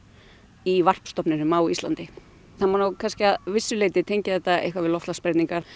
í varpstofninum á Íslandi það má nú kannski að vissu leyti tengja þetta við loftslagsbreytingar